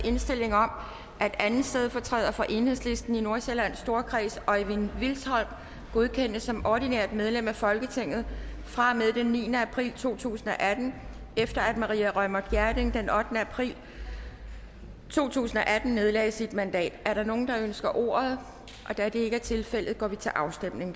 indstilling om at anden stedfortræder for enhedslisten i nordsjællands storkreds øjvind vilsholm godkendes som ordinært medlem af folketinget fra og med den niende april to tusind og atten efter at maria reumert gjerding den ottende april to tusind og atten nedlagde sit mandat er der nogen der ønsker ordet da det ikke er tilfældet går vi til afstemning